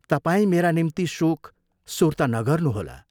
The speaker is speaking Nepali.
तपाईं मेरा निम्ति शोक, सुर्ता नगर्नुहोला।